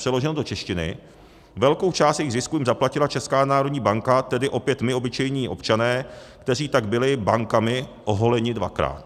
Přeloženo do češtiny, velkou část jejich zisku jim zaplatila Česká národní banka, tedy opět my obyčejní občané, kteří tak byli bankami oholeni dvakrát.